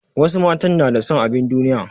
Wasu matan na da son abin duniya.